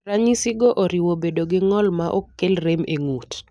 Ranyisigo oriwo bedo gi ng'ol maok kel rem e ng'ut.